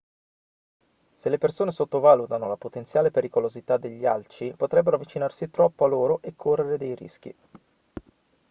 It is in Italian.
se le persone sottovalutano la potenziale pericolosità degli alci potrebbero avvicinarsi troppo a loro e correre dei rischi